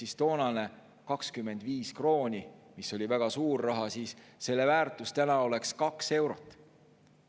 Ehk toonane 25 krooni, mis oli väga suur raha, selle väärtus täna oleks 2 eurot.